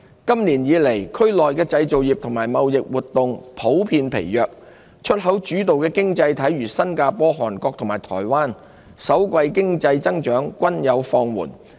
今年以來，區內製造業和貿易活動普遍疲弱。出口主導的經濟體如新加坡、韓國及台灣，首季經濟增長均放緩。